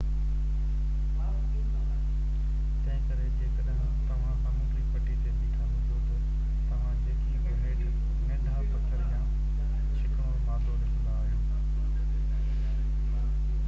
تنهنڪري جيڪڏهن توهان سامونڊي پٽي تي بيٺا هجو ته توهان جيڪي بہ هيٺ ننڍا پٿر يا چيڪڻو مادو ڏسندا آهيو